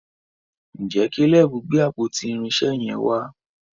ìje Caleb gbé àpótí irinṣẹ yen wà?